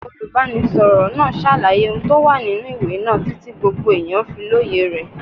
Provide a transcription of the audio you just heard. Olùbánisọ̀rọ̀ náà ṣàlàyé ohun tó wà nínú ìwé náà títí gbogbo èèyàn fi lóye rẹ̀.